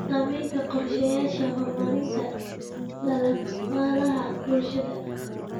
Saamaynta qorshayaasha horumarinta dhaqaalaha bulshada.